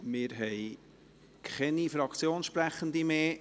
Wir haben keine Fraktionssprechenden mehr.